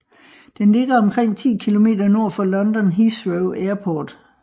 Den ligger omkring ti kilometer nord for London Heathrow Airport